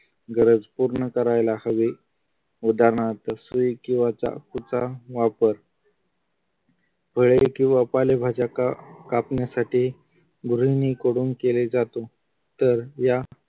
गरज पूर्ण करायला हवी उदाहरणार्थ सुई किंवा चाकूचा वापर फळे किंवा पालेभाजी कापण्यासाठी गृहिणी कडून केले जाते तर या